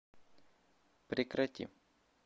прекрати